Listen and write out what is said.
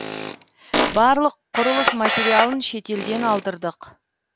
барлық құрылыс материалын шетелден алдырдық